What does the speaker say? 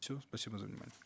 все спасибо за внимание